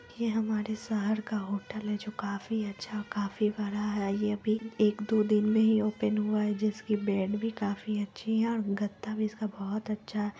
ये हमारा शहर का होटल हैं जो काफी अच्छा काफी बड़ा हैं ये अभी एक दो दिन में ही ओपन हुआ हैं जिसकी बेड भी काफी अच्छी है और गद्दा भी इसका बहुत अच्छा--